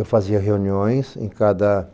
Eu fazia reuniões em cada